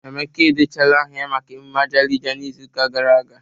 Emeka edechaala aha ya maka emume Ajalija n'izuụka gara aga